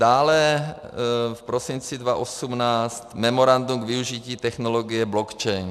dále v prosinci 2018 memorandum k využití technologie blockchain;